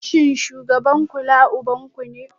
Shin shugaban kula ubanku ne?